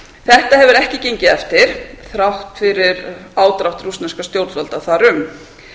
þetta hefur ekki gengið eftir þrátt ári ádrátt rússneskra stjórnvalda þar um